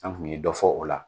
An kun ye dɔ fɔ o la